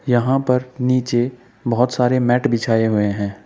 यहां पर नीचे बहोत सारे मैट बिछाए हुए है।